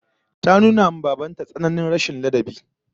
Ta nuna wa baban ta tsananin rashin ladabi